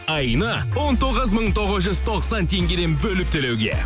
айына он тоғыз мың тоғыз жүз тоқсан теңгеден бөліп төлеуге